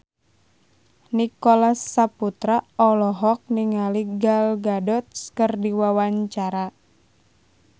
Nicholas Saputra olohok ningali Gal Gadot keur diwawancara